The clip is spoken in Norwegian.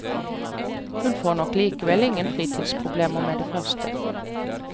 Hun får nok likevel ingen fritidsproblemer med det første.